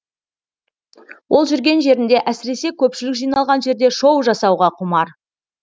ол жүрген жерінде әсіресе көпшілік жиналған жерде шоу жасауға құмар